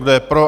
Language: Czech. Kdo je pro?